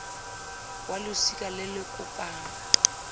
wa losika le le kopang